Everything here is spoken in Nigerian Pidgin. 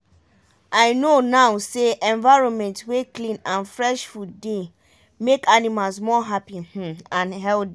i know now say environment wey clean and fresh food dey make animals more happy um and healthy.